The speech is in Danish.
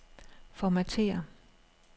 Formatér.